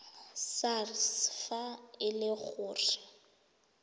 sars fa e le gore